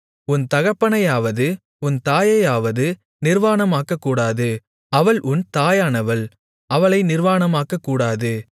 உன் தகப்பனையாவது உன் தாயையாவது நிர்வாணமாக்கக்கூடாது அவள் உன் தாயானவள் அவளை நிர்வாணமாக்கக்கூடாது